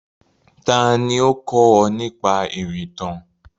Tani ó kó ọ nípa ìrìntàn?